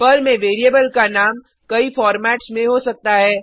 Perl में variable का नाम कई फॉर्मेट्स में हो सकता है